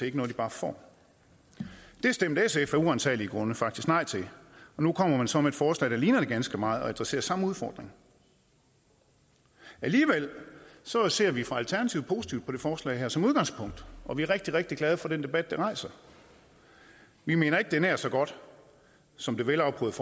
ikke noget de bare får det stemte sf af uransagelige grunde faktisk nej til og nu kommer man så med et forslag der ligner det ganske meget og adresserer samme udfordring alligevel ser vi fra alternativet positivt på det forslag her som udgangspunkt og vi er rigtig rigtig glade for den debat det rejser vi mener ikke det er nær så godt som det velafprøvede